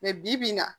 bi-bi in na